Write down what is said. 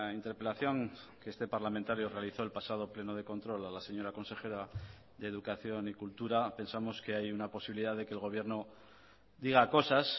interpelación que este parlamentario realizó el pasado pleno de control a la señora consejera de educación y cultura pensamos que hay una posibilidad de que el gobierno diga cosas